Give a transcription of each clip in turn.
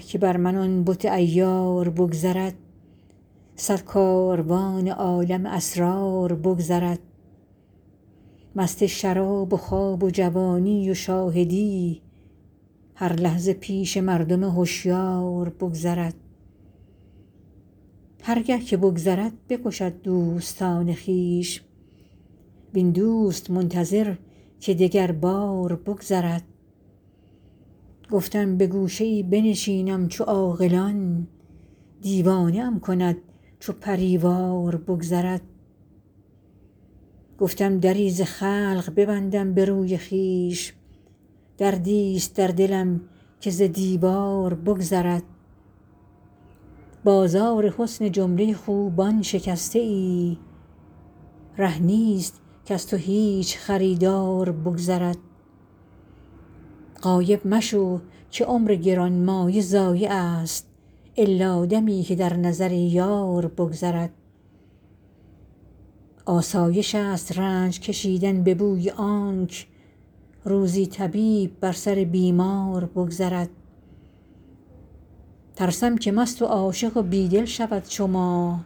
که بر من آن بت عیار بگذرد صد کاروان عالم اسرار بگذرد مست شراب و خواب و جوانی و شاهدی هر لحظه پیش مردم هشیار بگذرد هر گه که بگذرد بکشد دوستان خویش وین دوست منتظر که دگربار بگذرد گفتم به گوشه ای بنشینم چو عاقلان دیوانه ام کند چو پری وار بگذرد گفتم دری ز خلق ببندم به روی خویش دردیست در دلم که ز دیوار بگذرد بازار حسن جمله خوبان شکسته ای ره نیست کز تو هیچ خریدار بگذرد غایب مشو که عمر گرانمایه ضایعست الا دمی که در نظر یار بگذرد آسایشست رنج کشیدن به بوی آنک روزی طبیب بر سر بیمار بگذرد ترسم که مست و عاشق و بی دل شود چو ما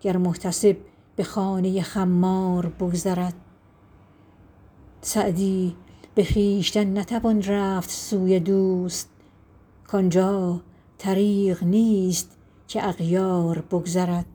گر محتسب به خانه خمار بگذرد سعدی به خویشتن نتوان رفت سوی دوست کان جا طریق نیست که اغیار بگذرد